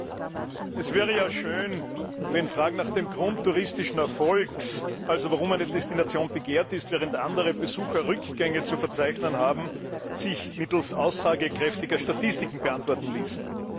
Herr Präsident! Es wäre ja schön, wenn Fragen nach dem Grund touristischen Erfolgs also warum eine Destination begehrt ist, während andere Besucherrückgänge zu verzeichnen haben sich mittels aussagekräftiger Statistiken beantworten ließen.